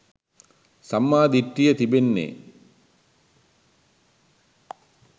සම්මා දිට්ඨිය තිබෙන්නේ